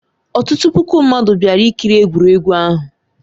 Ọtụtụ puku mmadụ bịara ikiri egwuregwu ahụ.